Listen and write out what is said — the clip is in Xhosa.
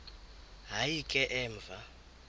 hayi ke emva